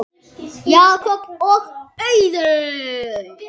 Jakob og Auður.